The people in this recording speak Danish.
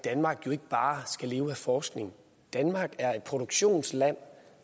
danmark jo ikke bare skal leve af forskning danmark er et produktionsland og